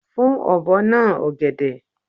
Fun obo na ogede